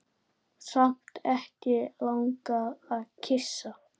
Samt ekki langað að kyssa.